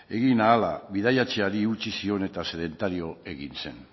egin ahala bidaiatzeari utzi zion eta sedentario egin zen